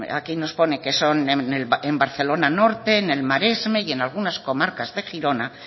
aquí nos pone que son en barcelona norte en el maresme y en algunas comarcas de girona